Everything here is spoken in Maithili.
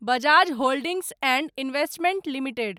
Bajaj holdings and investment limited